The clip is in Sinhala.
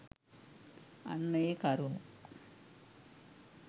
අන්න ඒ කරුණු